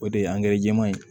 O de ye jɛman ye